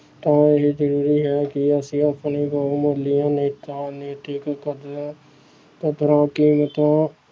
ਤਾਂ ਇਹ ਜ਼ਰੂਰੀ ਹੈ ਕਿ ਅਸੀਂ ਆਪਣੀ ਬਹੁਮੁਲੀਆਂ ਨੇਤਾ ਨੈਤਿਕ ਕਦਰਾਂ ਕਦਰਾਂ ਕੀਮਤਾਂ